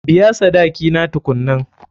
Biya sadaki na tukunnan.